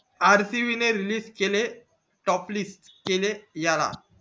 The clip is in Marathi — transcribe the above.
rcb ने लिस्ट केले टोपलीस्ट केले याला